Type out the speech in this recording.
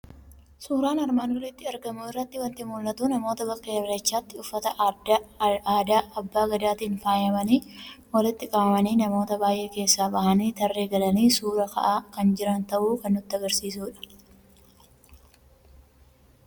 Suuraa armaan olitti argamu irraa waanti mul'atu; namoota bakka Irreechatti uffata aadaa abbaa Gadaatiin faayamani walitti qabamanii namoota baay'ee keessaa bahani tarree galani suuraa ka'aa kan jiran ta'uu kan nutti agarsiisudha.